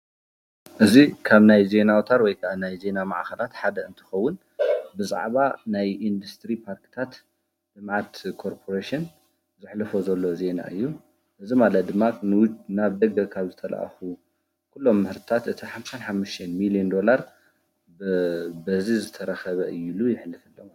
እዚ ካብ ናይ ዜና ኣውታር ወይ ከዓ ዜና ማዕኸናት ሓደ እንትኸውን ብዛዕባ ናይ ኢንድስትሪ ፓርክታት ልማት ኮርፖሬሽን ዘሕልፎ ዘሎ ዜና እዩ፡፡ እዚ ማለት ድማ ናብ ደገ ካብ ዝተላኣኹ ኩሎም ምህርትታት እቲ 55ሚልየን ዶላር በዚ ዝተረኸበ እዩ ኢሉ ዘሕልፍ ኣሎ ።